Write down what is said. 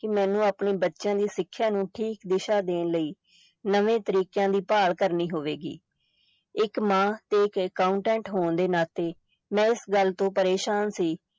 ਕਿ ਮੈਨੂੰ ਆਪਣੇ ਬੱਚਿਆਂ ਦੀ ਸਿੱਖਿਆ ਨੂੰ ਠੀਕ ਦਿਸ਼ਾ ਦੇਣ ਲਈ ਨਵੇਂ ਤਰੀਕਿਆਂ ਦੀ ਭਾਲ ਕਰਨੀ ਹੋਵੇਗੀ, ਇਕ ਮਾਂ ਤੇ ਇਕ accountant ਹੋਣ ਦੇ ਨਾਤੇ ਮੈਂ ਇਸ ਗੱਲ ਤੋਂ ਪਰੇਸ਼ਾਨ ਸੀ